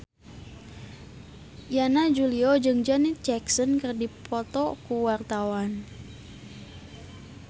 Yana Julio jeung Janet Jackson keur dipoto ku wartawan